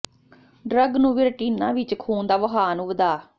drug ਨੂੰ ਵੀ retina ਵਿਚ ਖੂਨ ਦਾ ਵਹਾਅ ਨੂੰ ਵਧਾ